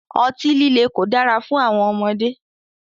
Ọti-lile ko dara fun awọn ọmọde